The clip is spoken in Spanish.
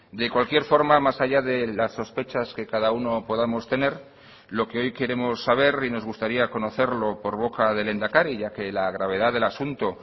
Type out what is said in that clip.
de cualquier forma más allá de las sospechas que cada uno podamos tener lo que hoy queremos saber y nos gustaría conocerlo por boca del lehendakari ya que la gravedad del asunto